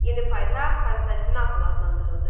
Yeni paytaxt Konstantinopol adlandırıldı.